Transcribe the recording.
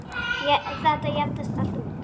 Þetta jafnist allt út.